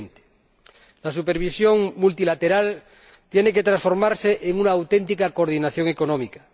2020. La supervisión multilateral tiene que transformarse en una auténtica coordinación económica